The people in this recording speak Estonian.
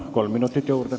Kolm minutit juurde.